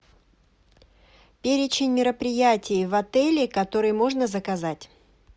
перечень мероприятий в отеле которые можно заказать